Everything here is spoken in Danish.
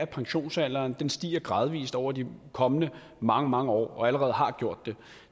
pensionsalderen stiger gradvis over de kommende mange mange år og allerede har gjort det